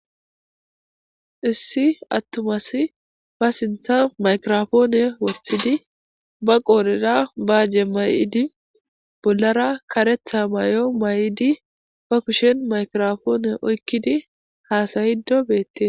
issi attuma asi ba sintha maykiropoone woththidi ba qooleda baajje may'idi bollara karetha mayo may'idi ba kushen maykrofoone oykkidi haasayido beettee